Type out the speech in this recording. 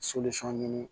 ɲini